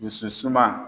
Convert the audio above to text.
Dusu suma